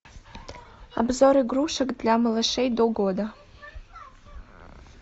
обзор игрушек для малышей до года